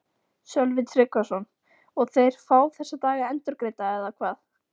Sölvi Tryggvason: Og þeir fá þessa daga endurgreidda eða hvað?